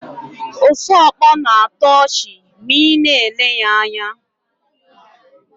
Osuọkpọ na-atọ ọchị ma ị na-ele ya anya.